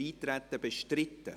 Ist Eintreten bestritten?